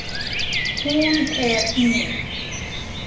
Hún er mín